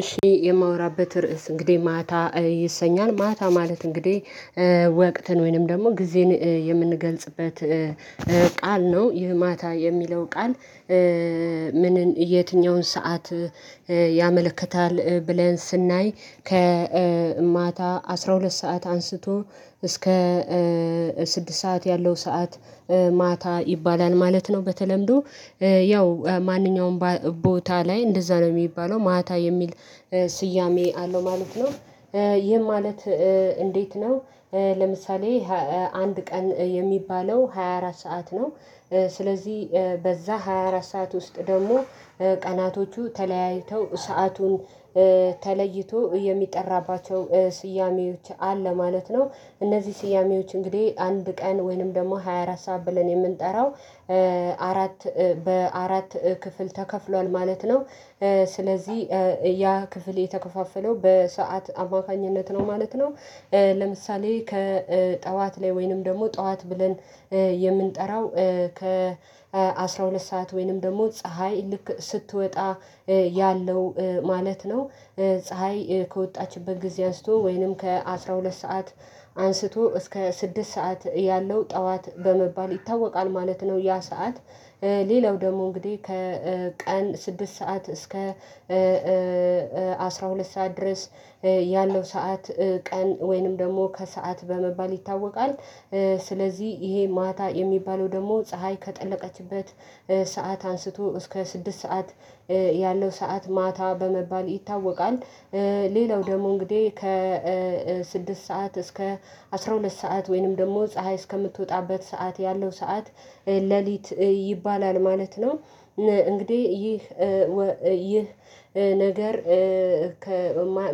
እሺ የማወራበት ርዕስ እንግዲህ ማታ ይሰኛል ማታ ማለት እንግዲህ ወቅትን ወይንም ደግሞ ጊዜን የምንገልጽበት ቃል ነው። ይህ ማታ የሚለው ቃል? ምንን የትኛውን ሰዓት ያመለክታል ብለን ስናይ ከማታ አስራ ሁለት ሰዓት አንስቶ እስከ ስድስት ሰዓት ያለው ሰዓት ማታ ይባላል ማለት ነው። በተለምዶ ያው ማንኛውም ቦታ ላይ እንደዛ ነው የሚባለው ማታ የሚል ስያሜ አለው ማለት ነው። ይህ ማለት እንዴት ነው? ለምሳሌ አንድ ቀን የሚባለው ሃያ አራት ሰዓት ነው። ስለዚህ በዛ ሃያ አራት ሰዓት ውስጥ ደግሞ ቀናቶቹ ተለያይተው ሰአቱን ተለይቶ የሚጠራባቸው ስያሜዎች አለ ማለት ነው። እነዚህ ስያሜዎች እንግዲህ አንድ ቀን ወይንም ደግሞ ሃያ አራት ሰዓት ብለን የምንጠራው አራት በአራት ክፍል ተከፍሏል ማለት ነው። ስለዚህ ያ ክፍል የተከፋፈለው በሰአት አማካኝነት ነው ማለት ነው። ለምሳሌ ከጠዋት ላይ ወይንም ደግሞ ጠዋት ብለን የምንጠራው ከ አስራ ሁለት ሰዓት ወይንም ደግሞ ፀሀይ ልክ ስትወጣ ያለው ማለት ነው። ፀሀይ ከወጣችበት ጊዜ አንስቶ ወይንም ከአሥራ ሁለት ሰዓት አንስቶ እስከ ስድስት ሰዓት ያለው ጠዋት በመባል ይታወቃል ማለት ነው ያ ሰዓት። ሌላው ደግሞ እንግዲህ ከቀን ስድስት ሰዓት እስከ አስራ ሁለት ሰዓት ድረስ ያለው ሰዓት ቀን ወይንም ደግሞ ከሰአት በመባል ይታወቃል። ስለዚህ ይሄ ማታ የሚባለው ደግሞ ፀሀይ ከጠለቀችበት ሰዓት አንስቶ እስከ ስድስት ሰዓት ያለው ሰዓት ማታ በመባል ይታወቃል። ሌላው ደግሞ እንግዲህ ከ ስድስት ሰዓት እስከ አስራ ሁለት ሰዓት ወይንም ደግሞ ፀሀይ እስከምትወጣበት ሰዓት ያለው ሰዓት ሌሊት ይባላል ማለት ነው። እንግዲህ ይህ ይህ ነገር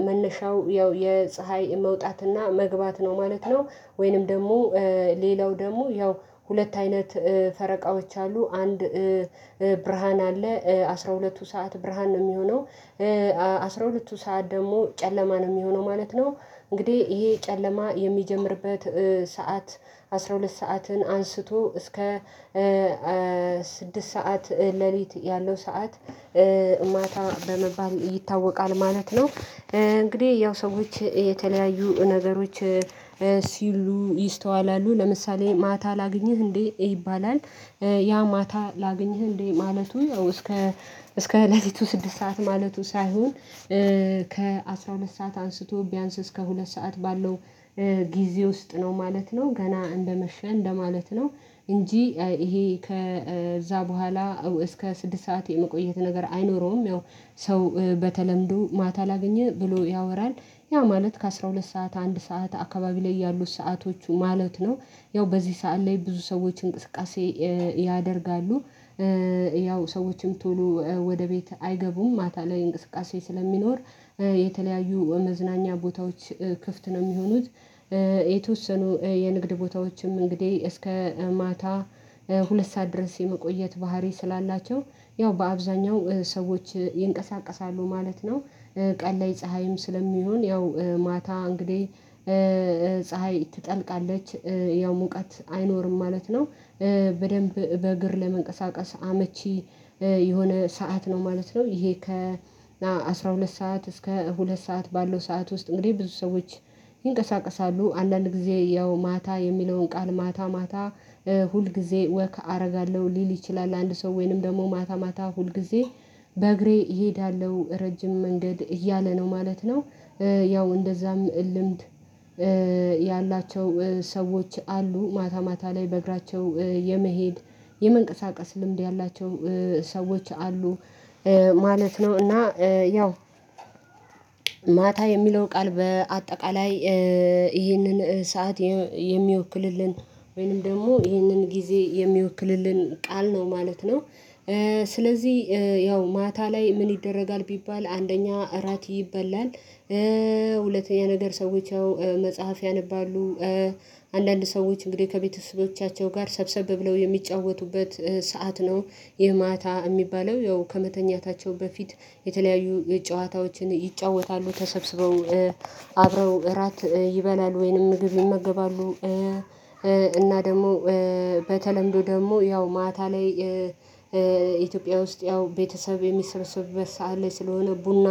መነሻው ያው የፀሀይ መውጣትና መግባት ነው ማለት ነው። ወይንም ደግሞ ሌላው ደግሞ ያው ሁለት አይነት ፈረቃዎች አሉ አንድ ብርሃን አለ አስራ ሁለቱ ሰዓት ብርሃን ነው የሚሆነው። አስራ ሁለቱ ሰዓት ደግሞ ጨለማ ነው የሚሆነው ማለት ነው። እንግዲህ ይሄ ጨለማ የሚጀምርበት ሰዓት አስራ ሁለት ሰዓትን አንስቶ እስከ ስድስት ሰዓት ሌሊት ያለው ሰዓት ማታ በመባል ይታወቃል ማለት ነው። እንግዲህ ያው ሰዎች የተለያዩ ነገሮች ሲሉ ይስተዋላሉ ለምሳሌ ማታ ላግኝህ እንዴ ይባላል። ያ ማታ ላግኝህ እንዴ ማለቱ እስከ እስከ እለቲቱ ስድስት ሰዓት ማለቱ ሳይሆን ከ አስራ ሁለት ሰዓት አንስቶ ቢያንስ እስከ ሁለት ሰዓት ባለው ጊዜ ውስጥ ነው ማለት ነው ገና እንደመሸን እንደማለት ነው። እንጂ ይሄ ከዛ በኋላ እስከ ስድስት ሰዓት የመቆየት ነገር አይኖረውም። ያው ሰው በተለምዶ ማታ ላገኝህ ብሎ ያወራል። ያ ማለት ከአሥራ ሁለት ሰዓት አንድ ሰዓት አካባቢ ላይ ያሉት ሰዓቶቹ ማለት ነው። ያው በዚህ ሰዓት ላይ ብዙ ሰዎች እንቅስቃሴ ያደርጋሉ። ያው ሰዎችም ቶሎ ወደ ቤት አይገቡም ማታ ላይ እንቅስቃሴ ስለሚኖር የተለያዩ መዝናኛ ቦታዎች ክፍት ነው የሚሆኑት። የተወሰኑ የንግድ ቦታዎችም እንግዲህ እስከ ማታ ሁለት ሰዓት ድረስ የመቆየት ባህሪ ስላላቸው ያው በአብዛኛው ሰዎች ይንቀሳቀሳሉ ማለት ነው። ቀንላይ ፀሀይም ስለሚሆን ያው ማታ እንግዲህ ፀሀይ ትጠልቃለች ያው ሙቀት አይኖርም ማለት ነው። በደንብ በእግር ለመንቀሳቀስ አመቺ የሆነ ሰዓት ነው ማለት ነው። ይሄ ከ አስራ ሁለት ሰዓት እስከ ሁለት ሰዓት ባለው ሰዓት ውስጥ እንግዲህ ብዙ ሰዎች ይንቀሳቀሳሉ። አንዳንድ ጊዜ ያው ማታ የሚለውን ቃል ማታ ማታ ሁል ጊዜ ወክ አደርጋለሁ ሊል ይችላል። አንድ ሰው ወይንም ደግሞ ማታ ማታ ሁልጊዜ በእግሬ እሄዳለሁ ረጅም መንገድ እያለ ነው ማለት ነው። ያው እንደዛም ልምድ ያላቸው ሰዎች አሉ ማታ ማታ ላይ በእግራቸው የመሄድ የመንቀሳቀስ ልምድ ያላቸው ሰዎች አሉ። ማለት ነው እና ያው ማታ የሚለው ቃል በአጠቃላይ ይህንን ሰዓት የሚወክልልን ወይንም ደግሞ ይህንን ጊዜ የሚወክልልን ቃል ነው ማለት ነው። ስለዚህ ያው ማታ ላይ ምን ይደረጋል? ቢባል አንደኛ እራት ይበላል። ሁለተኛ ነገር ሰዎች ያው መጽሐፍ ያነባሉ። አንዳንድ ሰዎች እንግዲህ ከቤተሰቦቻቸው ጋር ሰብሰብ ብለው የሚጫወቱበት ሰዓት ነው። ይህ ማታ የሚባለው ያው ከመተኛታቸው በፊት የተለያዩ ጨዋታዎችን ይጫወታሉ ተሰብስበው አብረው እራት ይበላሉ ወይንም ምግብ ይመገባሉ። እና ደግሞ በተለምዶ ደግሞ ያው ማታ ላይ ኢትዮጵያ ውስጥ ያው ቤተሰብ የሚሰበሰቡበት ሰዓት ላይ ስለሆነ ቡና